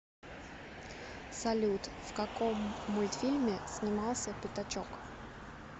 салют в каком мультфильме снимался пяточок